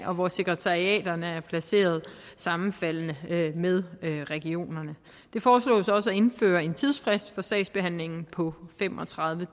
og hvor sekretariaterne er placeret sammenfaldende med regionerne det foreslås også at indføre en tidsfrist for sagsbehandlingen på fem og tredive